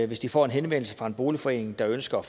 hvis de får en henvendelse fra en boligforening der ønsker at